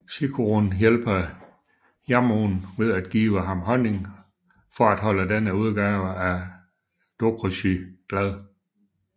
Chikurun hjælper Yamoh ved at give ham honning for at holde denne udgave af Dokuroxy glad